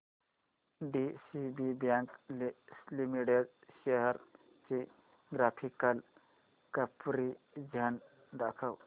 DCB bank limited shares चे graphical comparison दाखव